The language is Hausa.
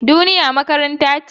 Duniya makaranta ce.